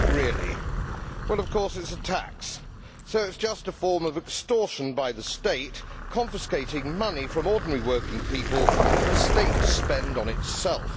What is it really? Well, of course it is a tax, so it is just a form of extortion by the State confiscating money from ordinary working people for the State to spend on itself.